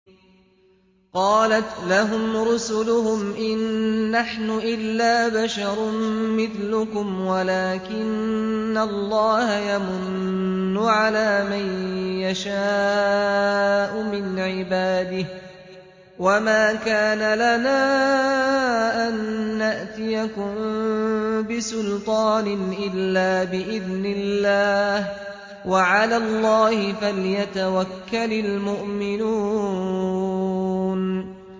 قَالَتْ لَهُمْ رُسُلُهُمْ إِن نَّحْنُ إِلَّا بَشَرٌ مِّثْلُكُمْ وَلَٰكِنَّ اللَّهَ يَمُنُّ عَلَىٰ مَن يَشَاءُ مِنْ عِبَادِهِ ۖ وَمَا كَانَ لَنَا أَن نَّأْتِيَكُم بِسُلْطَانٍ إِلَّا بِإِذْنِ اللَّهِ ۚ وَعَلَى اللَّهِ فَلْيَتَوَكَّلِ الْمُؤْمِنُونَ